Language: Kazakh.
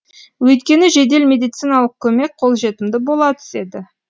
өйткені жедел медициналық көмек қолжетімді бола түседі